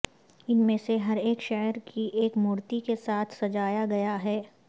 ان میں سے ہر ایک شعر کی ایک مورتی کے ساتھ سجایا گیا ہے